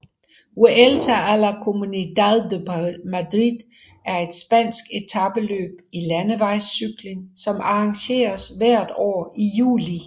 Vuelta a la Comunidad de Madrid er et spansk etapeløb i landevejscykling som arrangeres hvert år i juli